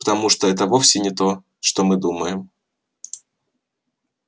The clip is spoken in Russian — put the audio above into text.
потому что это вовсе не то что мы думаем